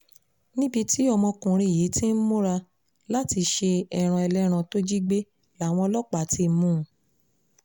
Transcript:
níbi tí ọmọkùnrin yìí ti ń múra àti ṣe ẹran ẹlẹ́ran tó jí gbé làwọn ọlọ́pàá ti mú un